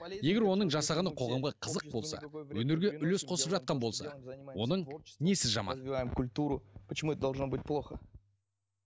егер оның жасағаны қоғамға қызық болса өнерге үлес қосып жатқан болса оның несі жаман культуру почему это должно быть плохо